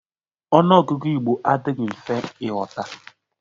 Ọnụ ọgụgụ Igbo adịghị mfe ịghọta.